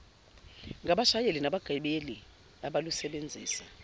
ngabashayeli nabagibeli abalusebenzisa